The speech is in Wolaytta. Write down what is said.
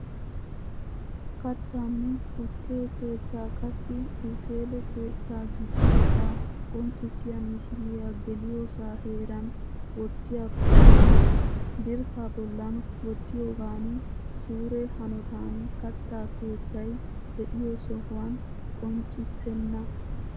Kattanne tukke keettaa qassi uteele keettaa gidiyoogaa qonccissiya misiliyaa geliyosaa heeran wottiyakko lo''o. Dirssaa bollan wottiyoogan suure hanotan katta keettay de'iyo sohuwan qonccissenna.